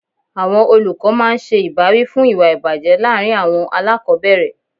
Àwọn olùkọ́ máa ń ṣe ìbáwí fún ìwà ìbàjẹ́ láàárín àwọn aláàkọ́bẹ̀rẹ̀.